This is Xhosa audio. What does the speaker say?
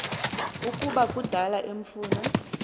ukuba kudala emfuna